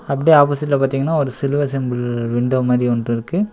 அப்டியே ஆப்போசிட்ல பாத்தீங்கன்னா ஒரு சிலுவ சிம்பல் விண்டோ மாறி ஒன்ருக்கு.